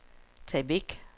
tag væk